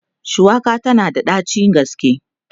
shuwaka tana da ɗacin gaske